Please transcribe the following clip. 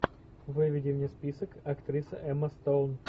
выведи мне список актриса эмма стоун